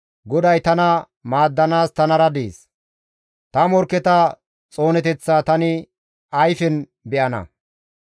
GODAY tana maaddanaas tanara dees; ta morkketa xooneteththaa tani ayfen be7ana.